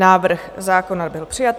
Návrh zákona byl přijat.